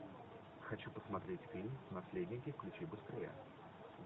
хочу посмотреть фильм наследники включи быстрее